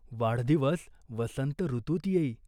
वाढदिवस वसंत ऋतूत येई.